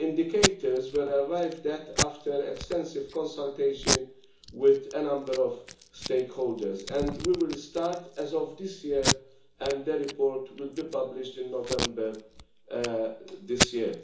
The indicators were arrived at after extensive consultation with a number of stakeholders, and we will start as of this year, and the report will be published in November this year.